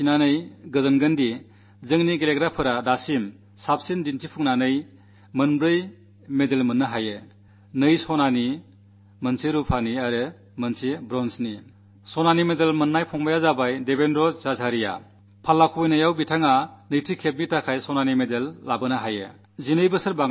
നമ്മുടെ കളിക്കാർ ഇതുവരെയുള്ളതിൽ ഏറ്റവും വലിയ നേട്ടം കുറിച്ചുകൊണ്ട് 4 മെഡലുകൾ നേടി എന്നതറിയുമ്പോൾ നിങ്ങൾക്ക് ആശ്ചര്യം തോന്നും രണ്ടു സ്വർണ്ണവും ഒരു വെള്ളിയും ഒരു വെങ്കലവും പോൾ വോൾട്ടിൽ രണ്ടാമതും സ്വർണ്ണമെഡൽ നേടിയത് 12 വർഷത്തിനു ശേഷമാണ്